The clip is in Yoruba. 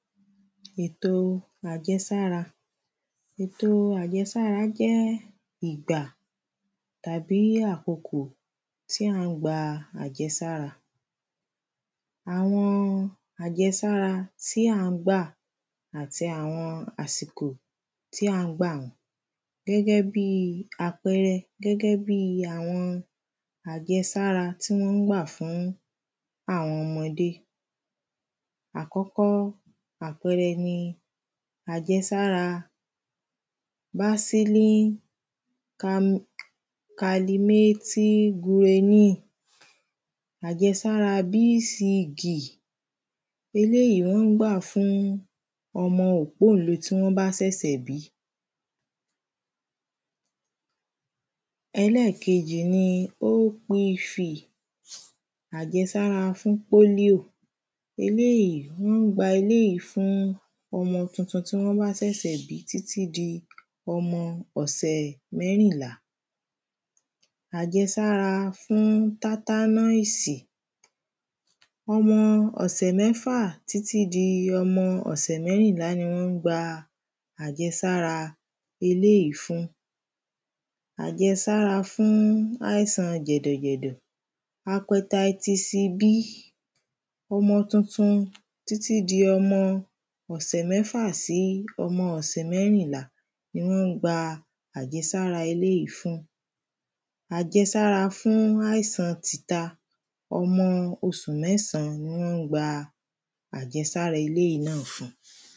Ètò àjẹsára Ètò àjẹ̀sára jẹ́ ìgbà tàbí àkókò tí à ń gba àjẹsára Àwọn àjẹsára tí à ń gbà àti àwọn àsìkò tí à ń gbà wọ́n Gẹ́gẹ́ bíi àpẹẹrẹ gẹ́gẹ́ bíi àwọn àjẹsára tí wọ́n ń gbà fún àwọn ọmọdé Àkọ́kọ́ àpẹẹrẹ ni àjẹsára Ajèsára b c g Eléyì wọ́n ń gbà fún ọmọ òpóǹle ti wọ́n bá ṣẹ̀ṣẹ̀ bí Ẹlẹ́ẹ̀kejì ni opf Àjẹsára fún polio Eléyì wọ́n ń gbà eléyì fún ọmọ tuntun tí wọ́n bá ṣẹ̀ṣẹ̀ bí títí di ọmọ ọ̀sẹ̀ mérìnlá Àjẹsára fún tetanus Ọmọ òsẹ̀ mẹ́fà títí di ọmọ ọ̀sẹ̀ mẹ́rìnlá ni wọ́n gba àjẹsára eléyì fún Àjẹsára fún àìsan jẹ̀dẹ̀jẹ̀dẹ̀ hepatitis B Ọmọ tuntun títí di ọmọ ọ̀sẹ̀ mẹ́fà sí ọmọ ọ̀sẹ̀ mẹ́rìnlá ni wọ́n ń gba àjẹsára eléyì fún Àjẹsára fún àìsàn tita Ọmọ oṣù mẹ́sàn ni wọ́n ń gba àjẹsára eléyì náà fún